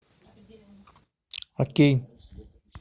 окей